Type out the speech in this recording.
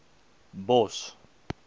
bos